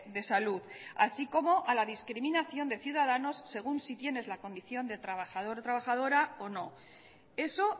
de salud así como a la discriminación de ciudadanos según si tienes la condición de trabajador o trabajadora o no eso